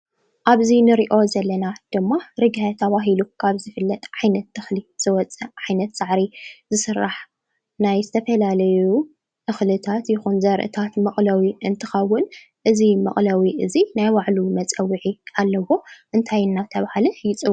ኣብዚ ንሪኦ ዘለና ድማ ርግሀ ተባሂሉ ካብ ዝፍለጥ ዓይነት ተኽሊ ዝወፀ ዓይነት ሳዕሪ ዝስራሕ ናይ ዝተፈላለዩ እኽልታት ይኹን ዘርእታት መቑለዊ እንትኸውን እዚ መቑለዊ እዚ ናይ ባዕሉ መፀውዒ ኣለዎ፡፡ እንታይ እናተባህለ ይፅዋዕ?